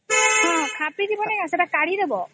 ହଁ ଖାପି ଥିବା ନି କେ କାଢି ଦବ